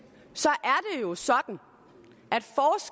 er det jo sådan